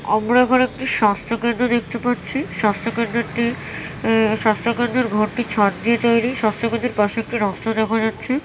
আমরা এখানে একটি স্বাস্থ্য কেন্দ্র দেখতে পাচ্ছি। স্বাস্থ্য কেন্দ্রটি স্বাস্থ্যকেন্দ্রের ঘরটি ছাদ দিয়ে তৈরী। স্বাস্থ্যকেন্দ্রের পাশে একটি রাস্তা দেখা যাচ্ছে।